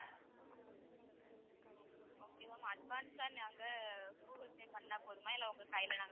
okay ma'am advance ஆ நாங்க google pay பண்ணா போதுமா இல்ல உங்க கையில நாங்க ,